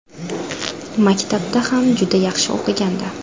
Maktabda ham juda yaxshi o‘qigandi.